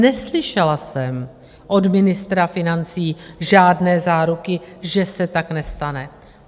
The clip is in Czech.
Neslyšela jsem od ministra financí žádné záruky, že se tak nestane.